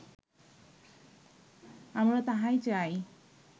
আমরা তাহাই চাই